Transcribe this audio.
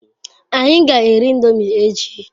Anyi g'eri indomi echi